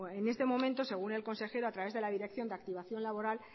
en este momento según el consejero a través de la dirección de activación laboral